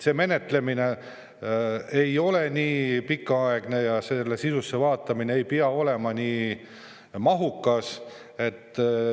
See menetlemine ei ole nii pikaaegne ja selle sisusse vaatamine ei pea olema mahukas.